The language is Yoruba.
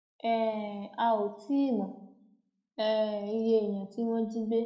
um a ò tí ì mọ um iye èèyàn tí wọn jí gbé